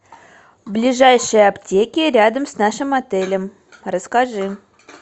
ближайшие аптеки рядом с нашим отелем расскажи